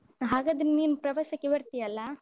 ಹಾಗಾದ್ರೆ ನೀನ್ ಪ್ರವಾಸಕ್ಕೆ ಬರ್ತಿಯಲ್ಲಾ?